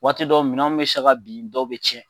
Waati dɔ minɛnw bɛ se ka bin dɔw bɛ tiɲɛ